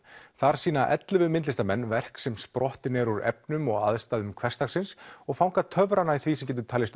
þar sýna ellefu myndlistarmenn verk sem sprottin eru úr efnum og aðstæðum hversdagsins og fanga töfrana í því sem getur talist